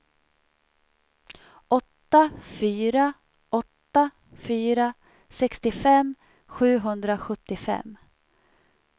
åtta fyra åtta fyra sextiofem sjuhundrasjuttiofem